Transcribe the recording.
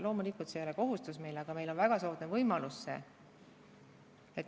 Loomulikult, see ei ole meile kohustus, aga see on väga soodne võimalus.